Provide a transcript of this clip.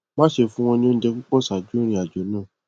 má ṣe fún wọn ní oúnjẹ púpọ ṣáájú ìrìnàjò náà